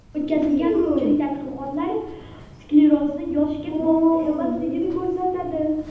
O‘tkazilgan ko‘pchilik tadqiqotlar sklerozning yoshga bog‘liq emasligini ko‘rsatadi.